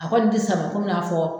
A ko ne tɛ sama kɔmi n'a fɔ